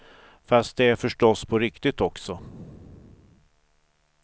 Fast det är det förstås på riktigt också.